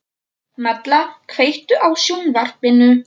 Malla, kveiktu á sjónvarpinu.